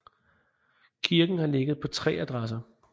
Kirken har ligget på tre adresser